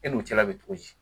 E n'u cɛla bɛ cogo di